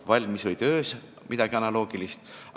– valmis või töös midagi analoogilist.